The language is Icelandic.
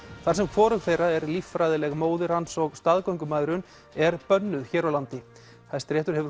þar sem hvorug þeirra er líffræðileg móðir hans og staðgöngumæðrun er bönnuð hér á landi Hæstiréttur hefur